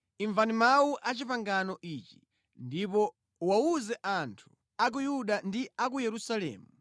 “Imvani mawu a pangano ili, ndipo uwawuze anthu a ku Yuda ndi a ku Yerusalemu.